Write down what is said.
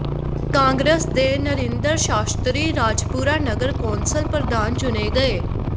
ਕਾਂਗਰਸ ਦੇ ਨਰਿੰਦਰ ਸ਼ਾਸਤਰੀ ਰਾਜਪੁਰਾ ਨਗਰ ਕੌਂਸਲ ਪ੍ਰਧਾਨ ਚੁਣੇ ਗਏ